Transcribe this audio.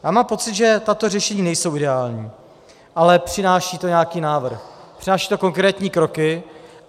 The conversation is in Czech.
Já mám pocit, že tato řešení nejsou ideální, ale přináší to nějaký návrh, přináší to konkrétní kroky.